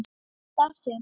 þar sem